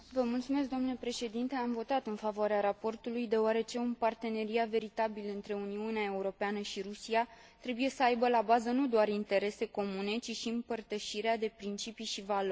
Am votat în favoarea raportului, deoarece un parteneriat veritabil între Uniunea Europeană și Rusia trebuie să aibă la bază nu doar interese comune, ci și împărtășirea de principii și valori.